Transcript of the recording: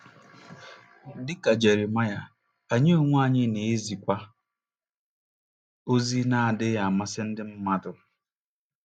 Dị ka Jeremaịa, anyị onwe anyị na-ezikwa ozi na-adịghị amasị ndị mmadụ.